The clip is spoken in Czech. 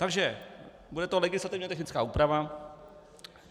Takže, bude to legislativně technická úprava.